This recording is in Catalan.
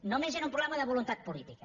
només era un problema de voluntat política